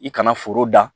I kana foro da